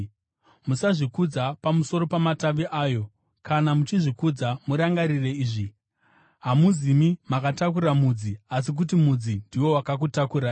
musazvikudza pamusoro pamatavi ayo. Kana muchizvikudza murangarire izvi: Hamuzimi makatakura mudzi, asi kuti mudzi ndiwo wakakutakurai.